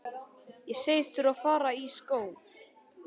Ég segist þurfa að fara í skó.